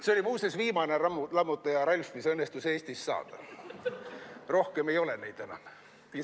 See oli muuseas viimane "Lammutaja Ralf", mis õnnestus Eestist saada, rohkem ei ole neid enam.